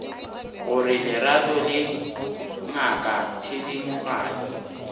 gore lerato le ngaka thedimogane